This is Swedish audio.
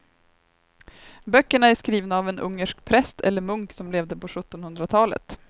Böckerna är skrivna av en ungersk präst eller munk som levde på sjuttonhundratalet.